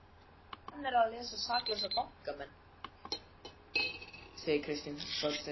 Hver nennir að lesa um saklausa bankamenn? segir Kristín Þorsteinsdóttir.